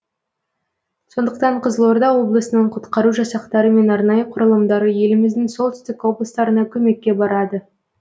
сондықтан қызылорда облысының құтқару жасақтары мен арнайы құрылымдары еліміздің солтүстік облыстарына көмекке барады